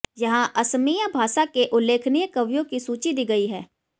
यहाँ असमिया भाषा के उल्लेखनीय कवियों की सूची दी गयी है